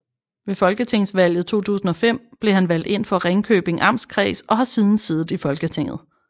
Ved Folketingsvalget 2005 blev han valgt ind for Ringkøbing Amtskreds og har siden siddet i Folketinget